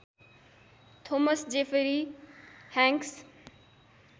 Thomas Jeffrey Hanks